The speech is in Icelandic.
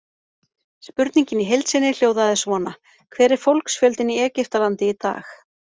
Spurningin í heild sinni hljóðaði svona: Hver er fólksfjöldinn í Egyptalandi í dag?